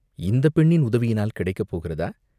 இந்தப் பெண்ணின் உதவியினால் கிடைக்க போகிறதா?